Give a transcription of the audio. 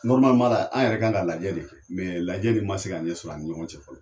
Nɔrimalima an yɛrɛ kan ka lajɛ de kɛ mɛ lajɛ nin ma se ka ɲɛsɔrɔ an ni ɲɔgɔn cɛ fɔlɔ